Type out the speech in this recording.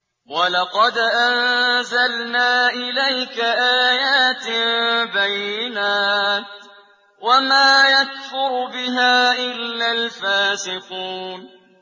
وَلَقَدْ أَنزَلْنَا إِلَيْكَ آيَاتٍ بَيِّنَاتٍ ۖ وَمَا يَكْفُرُ بِهَا إِلَّا الْفَاسِقُونَ